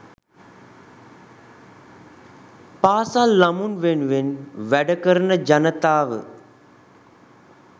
පාසල් ළමුන් වෙනුවෙන් වැඩ කරන ජනතාව